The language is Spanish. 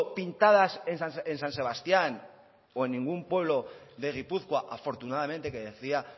pintadas en san sebastián o en ningún pueblo de gipuzkoa afortunadamente que decía